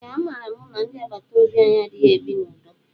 Ee a mara mụ na ndị agbataobi anyị adịghị ebi na udo.